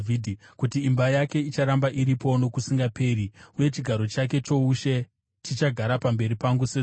kuti imba yake icharamba iripo nokusingaperi uye chigaro chake choushe chichagara pamberi pangu sezuva;